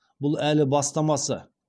бұл әлі бастамасы